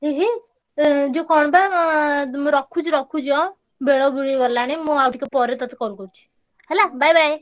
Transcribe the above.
ଏ ହେଇ ମୁଁ ରଖୁଛି ରଖୁଛି ହାଁ ବେଳ ବୁଦିଗଲାଣି ମୁଁ ଆଉଟିକେ ପରେତତେ call କରୁଛି ହେଲା bye bye